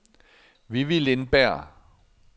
Vivi Lindberg